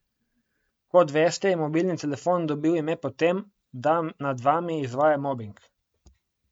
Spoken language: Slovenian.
Kot veste, je mobilni telefon dobil ime po tem, da nad vami izvaja mobing.